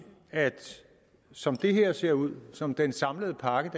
at som det her ser ud som den samlede pakke